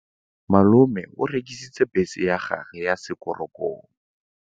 Malome o rekisitse bese ya gagwe ya sekgorokgoro.